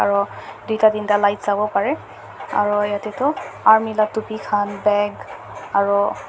tinta tinta light aru yate tu army laga tupi khan bage aru.